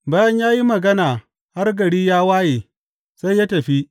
Bayan ya yi magana har gari ya waye, sai ya tafi.